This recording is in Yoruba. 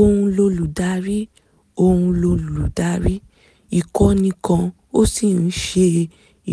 òun lolùdarí òun lolùdarí ìkọ̀nì kan ó sì ń ṣe